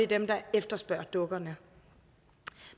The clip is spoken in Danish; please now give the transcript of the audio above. dem der efterspørger dukkerne